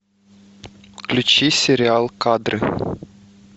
включи сериал кадры